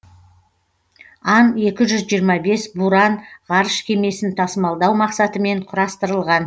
ан екі жүз жиырма бес буран ғарыш кемесін тасымалдау мақсатымен құрастырылған